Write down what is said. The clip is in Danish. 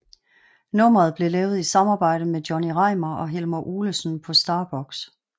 Nummeret blev lavet i samarbejde med Johnny Reimar og Helmer Olesen på STARBOX